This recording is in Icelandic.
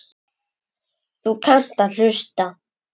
Þú kannt að hlusta.